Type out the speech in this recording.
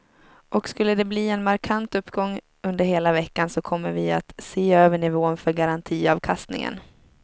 Och skulle de bli en markant uppgång under hela veckan så kommer vi att se över nivån för garantiavkastningen.